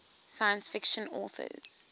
science fiction authors